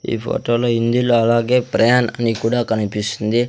ఈ ఫోటోలో హిందీలో అలాగే ప్రయాణ్ అని కూడా కనిపిస్తుంది.